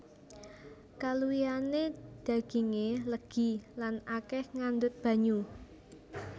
Kaluwihané dagingé legi lan akèh ngandhut banyu